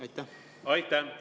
Aitäh!